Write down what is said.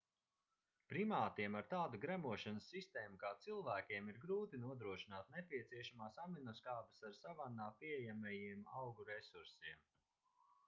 primātiem ar tādu gremošanas sistēmu kā cilvēkiem ir grūti nodrošināt nepieciešamās aminoskābes ar savannā pieejamajiem augu resursiem